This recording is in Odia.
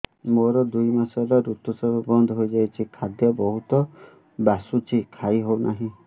ମୋର ଦୁଇ ମାସ ହେଲା ଋତୁ ସ୍ରାବ ବନ୍ଦ ହେଇଯାଇଛି ଖାଦ୍ୟ ବହୁତ ବାସୁଛି ଖାଇ ହଉ ନାହିଁ